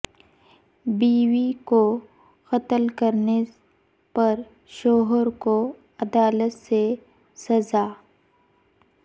بیوی کو قتل کرنے پر شوہر کو عدالت سے سزاء